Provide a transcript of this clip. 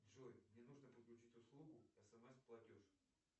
джой мне нужно подключить услугу смс платеж